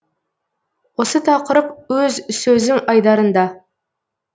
осы тақырып өз сөзім айдарында